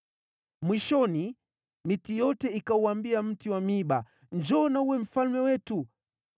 “Mwishoni miti yote ikauambia mti wa miiba, ‘Njoo na uwe mfalme wetu.’